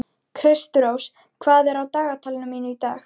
Kristrós, hvað er á dagatalinu mínu í dag?